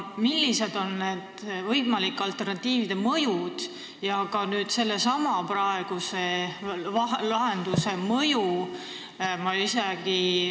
Millised on nende võimalike alternatiivide mõjud ja ka sellesama praeguse lahenduse mõju?